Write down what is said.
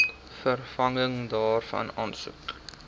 vervanging daarvan aansoek